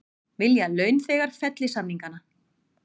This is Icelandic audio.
Vilja að launþegar felli samningana